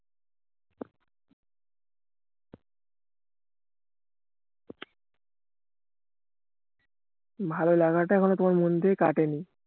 ভালো লাগাটা এখনো তোমার মন থেকে কাটেনি